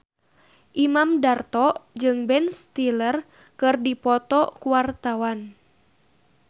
Imam Darto jeung Ben Stiller keur dipoto ku wartawan